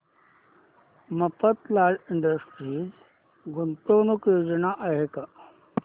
Mafatlal industries गुंतवणूक योजना दाखव